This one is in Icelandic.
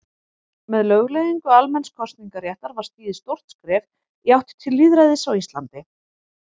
Með lögleiðingu almenns kosningaréttar var stigið stórt skref í átt til lýðræðis á Íslandi.